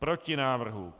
Proti návrhu.